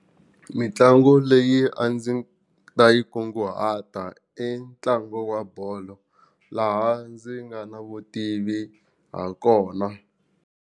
Mitlangu leyi a ndzi ta yi kunguhata i ntlangu wa bolo laha ndzi nga na vutivi ha kona.